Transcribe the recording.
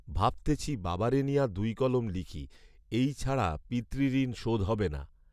ভাবতেছি বাবারে নিয়া দুই কলম লিখি। এইছাড়া পিতৃঋণ শোধ হবে না।